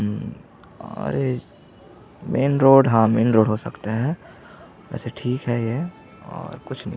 उम्म अरे main road ह main road हो सकता है अइसे ठीक है ये और कुछ नहीं--